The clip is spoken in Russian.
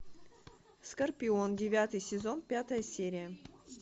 скорпион девятый сезон пятая серия